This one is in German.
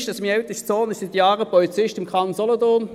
Mein ältester Sohn ist seit Jahren Polizist im Kanton Solothurn.